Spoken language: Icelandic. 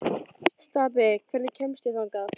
Stapi, hvernig kemst ég þangað?